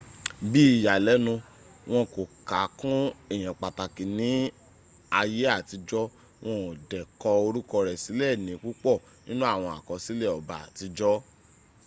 bi ìyanilénu wọn kò ka kún èyàn pàtàkì ní àyẹ àtijọ́ wọn o dẹ kọ orúkọ rẹ sílè ni púpọ̀ nínú àwọn àkọsílè ọba àtijọ́